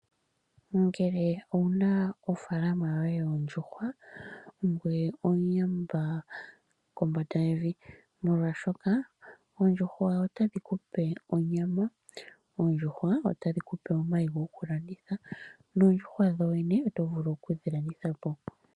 Ngele owu na ofaalama yoye yoondjuhwa ongoye omuyamba kombanda yevi, molwashoka oondjuhwa otadhi ku pe onyama, oondjuhwa otadhi ku pe omayi gokulanditha noodjuhwa dho dhene oto vulu okudhi landitha po.